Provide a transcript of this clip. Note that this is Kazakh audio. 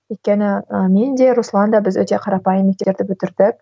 өйткені ііі мен де руслан да біз өте қарапайым бітірдік